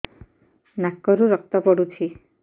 ନାକରୁ ରକ୍ତ ପଡୁଛି